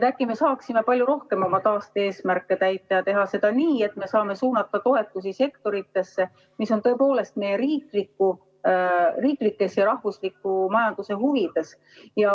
Äkki me saaksime palju rohkem oma taaste-eesmärke täita ja teha seda nii, et me saaksime suunata toetusi sektoritesse, mis on tõepoolest meie riiklikes ja rahvusliku majanduse huvides.